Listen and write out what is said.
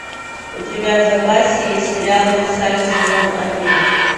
у тебя в запасе есть сериал версаль сезон один